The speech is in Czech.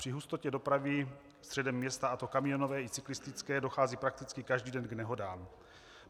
Při hustotě dopravy středem města, a to kamionové i cyklistické, dochází prakticky každý den k nehodám.